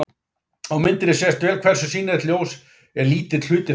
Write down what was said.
Á myndinni sést vel hversu sýnilegt ljós er lítill hluti þess.